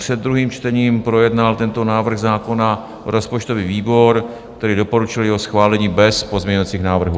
Před druhým čtením projednal tento návrh zákona rozpočtový výbor, který doporučil jeho schválení bez pozměňovacích návrhů.